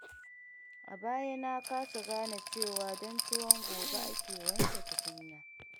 A baya na kasa gane cewa don tuwon gobe ake wanke tukunya.